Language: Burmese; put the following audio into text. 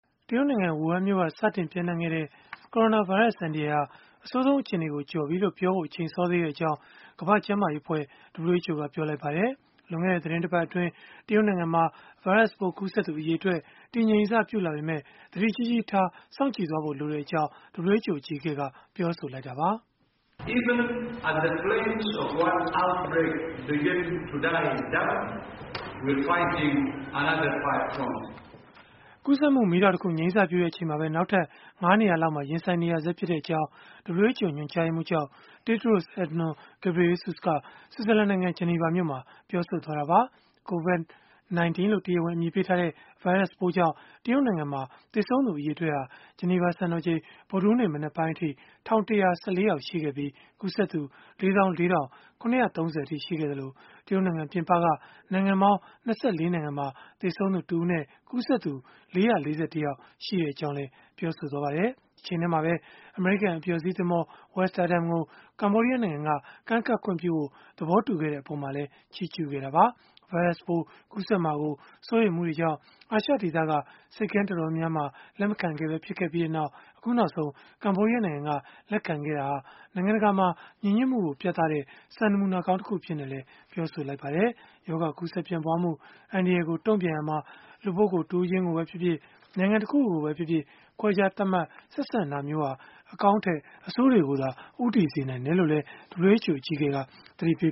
တရုတ်နိုင်ငံ ဝူဟန်မြို့က စတင်ပျံ့နှံ့ခဲ့တဲ့ ကိုရိုနာဗိုင်းရပ်စ် အန္တရာယ်ဟာ အဆိုးဆုံး အခြေအနေကို ကျော်လွှားပြီလို့ ပြောဖို့ အချိန်စောသေးကြောင်း ကမ္ဘာ့ကျန်းမာရေးအဖွဲ့ (WHO) ကပြောလိုက်ပါတယ်။ လွန်ခဲ့တဲ့ သီတင်းပတ်အတွင်း တရုတ်နိုင်ငံမှာ ဗိုင်းရပ်စ်ပိုး ကူးစက်သူ အရေအတွက် တည်ငြိမ်စပြုလာပေမဲ့ သတိကြီးကြီးထား စောင့်ကြည့်သွားဖို့ လိုတဲ့အကြောင်း WHO အကြီးအကဲက ပြောဆိုလိုက်တာပါ။ ကူးစက်မှု မီးတောက်တခု ငြိမ်းစပြုတဲ့အချိန်မှာပဲ နောက်ထပ် ၅ နေရာလောက်မှာ ရင်ဆိုင်နေရဆဲဖြစ်ကြောင်း WHO ညွှန်ကြားရေးမှူးချုပ် Tedros Adhanom Ghebreyesus က ဆွစ်ဇာလန်နိုင်ငံ ဂျနီဗာမြို့မှာ ပြောဆိုလိုက်တာပါ။ COVID-19 လို့ တရားဝင် အမည်ပေးထားတဲ့ ဗိုင်းရပ်စ်ပိုးကြောင့် တရုတ်နိုင်ငံမှာ သေဆုံးသူ အရေအတွက်ဟာ ဂျနီဗာစံတော်ချိန် ဗုဒ္ဓဟူးနေ့မနက်ပိုင်းအထိ ၁,၁၁၄ ယောက်ရှိခဲ့ပြီး၊ ကူးစက်သူ ၄၄,၇၃၀ အထိ ရှိခဲ့သလို၊ တရုတ်နိုင်ငံ ပြင်ပက နိုင်ငံပေါင်း ၂၄ နိုင်ငံမှာ သေဆုံးသူတစ်ဦးနဲ့ ကူးစက်သူ ၄၄၁ ယောက် ရှိကြောင်းလည်း ပြောပါတယ်။ တချိန်တည်းမှာပဲ အမေရိကန် အပျော်စီးသင်္ဘော Westerdam ကို ကမ္ဘောဒီးယားနိုင်ငံက ကမ်းကပ်ခွင့်ပြုဖို့ သဘောတူခဲ့တဲ့ အပေါ်မှာလည်း ချီးကျုးခဲ့တာပါ။ ဗိုင်းရပ်စ်ပိုး ကူးစက်မှာ စိုးရိမ်မှုတွေကြောင့် အာရှဒေသက ဆိပ်ကမ်း တော်တော်များများက လက်မခံခဲ့ပဲ ဖြစ်ခဲ့ပြီး အခုနောက်ဆုံး ကမ္ဘောဒီးယားနိုင်ငံက လက်ခံခဲ့တာဟာ နိုင်ငံတကာမှာ ညီညွတ်မှုကို ပြသတဲ့ နမူနာကောင်းတခု ဖြစ်ကြောင်းလည်း ပြောပါတယ်။ ရောဂါကူးစက်ပျံ့ပွားမှု အန္တရာယ်ကို တုံ့ပြန်ရာမှာ လူပုဂ္ဂိုလ် တဦးချင်းကိုပဲဖြစ်ဖြစ်၊ နိုင်ငံတခုခုကိုပဲဖြစ်ဖြစ် ခွဲခြားသတ်မှတ် ဆက်ဆံတာမျိုးဟာ အကောင်းထက် အဆိုးတွေကိုသာ ဦးတည်စေနိုင်တယ်လို့လည်း WHO အကြီးအကဲက သတိပေ